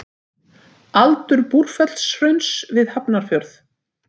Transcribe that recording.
Aldur Búrfellshrauns við Hafnarfjörð.